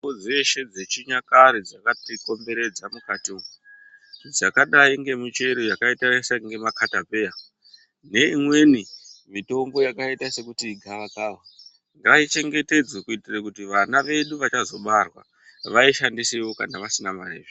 Mitombo dzeshe dzechinyakare dzakati komberedza mukati mwodzakadai sngemuchero yakaita semakatapeya neimweni mitombo yakaita sekuti igavakava ngaichengetedzwe kuitira kuti vana vedu vachazobarwa vayishandisewo kana vasina mari zviya.